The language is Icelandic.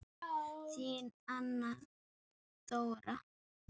Þín Anna Dóra.